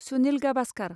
Sunil Gavaskar